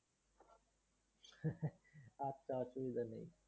আচ্ছা, ঠিকাছে।